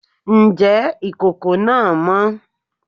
Ǹjẹ́ ìkòkò náà mọ́?